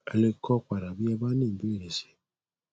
ẹ lè kọ padà bí ẹ bá ní ìbéèrè sí i